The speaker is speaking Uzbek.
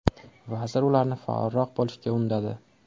Vazir ularni faolroq bo‘lishga undadi.